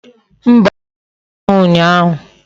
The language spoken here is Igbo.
Mba, anwu achaghi unyahu